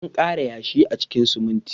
An ƙara yashi a cikin siminti.